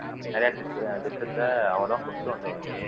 நிறைய திட் திட்டத்தை அவர்தான் கொண்டு வந்தவரு